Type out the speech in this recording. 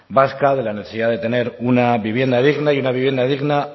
vasca de la necesidad de tener una vivienda digna y una vivienda digna